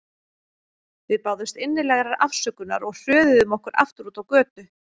Við báðumst innilegrar afsökunar og hröðuðum okkur aftur út á götu.